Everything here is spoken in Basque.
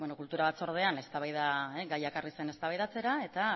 kultura batzordean gaia ekarri zen eztabaidatzera eta